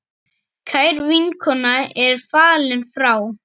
Kær vinkona er fallin frá.